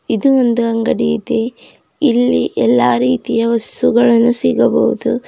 ಇದು ಒಂದು ಅಂಗಡಿ ಇದೆ ಇಲ್ಲಿ ಎಲ್ಲಾ ರೀತಿಯ ವಸ್ತುಗಳನ್ನು ಸಿಗಬಹುದು.